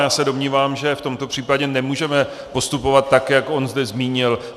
Já se domnívám, že v tomto případě nemůžeme postupovat tak, jak on zde zmínil.